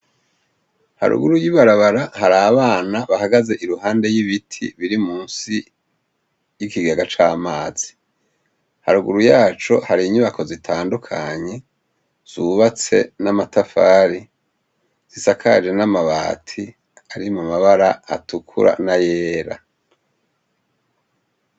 Haruguru y'ibarabara, hari abana bahagaze iruhande y'ibiti biri munsi y'ikigega c'amazi; haruguru yaco hari inyubako zitandukanye zubatse n'amatafari, zisakaje n'amabati ari mu mabara atukura n'ayera.